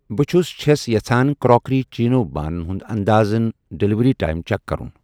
بہٕ چھس چھَس یژھان کراکری چیٖنو بانہٕ ہُنٛد انٛدازَن ڈیلیوری ٹایم چیک کرُن